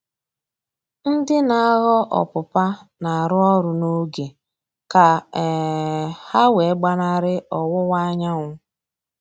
Ndị na-aghọ ọpụpa na-arụ ọrụ n'oge ka um ha wee gbanarị ọwụwa anyanwụ